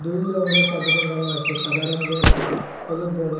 দুই রঙ্গের টাবু টাঙ্গানো আসে সাদা রঙ্গের অ্যান হলুদ বর্ণের।